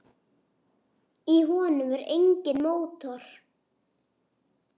Í honum er enginn mótor.